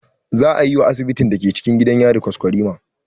Zaa yi wa asibitin cikin gidan yari kwaskwarima